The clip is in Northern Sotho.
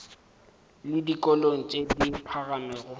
le dikolong tše di phagamego